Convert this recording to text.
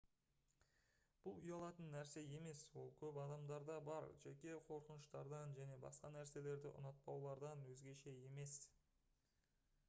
бұл ұялатын нәрсе емес ол көп адамдарда бар жеке қорқыныштардан және басқа нәрселерді ұнатпаулардан өзгеше емес